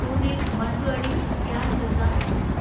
Pune Manduadih Gyan Ganga express